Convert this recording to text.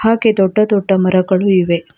ಹಾಗೆ ದೊಡ್ಡ ದೊಡ್ಡ ಮರಗಳು ಇವೆ.